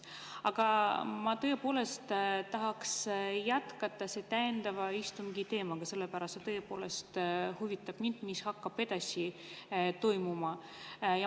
Aga ma tõepoolest tahaks jätkata täiendava istungi teemaga, sellepärast et mind huvitab, mis hakkab edasi toimuma.